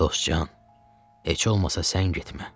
“Dostcan, heç olmasa sən getmə.